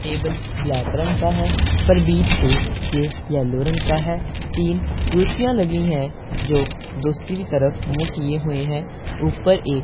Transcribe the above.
table black रंग का है पर बीच से ये येलो रंग का है तीन कुर्सियां लगी है जो दूसरी तरफ की मुंह किए हुए हैं ऊपर एक --